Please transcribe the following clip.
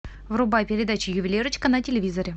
врубай передачу ювелирочка на телевизоре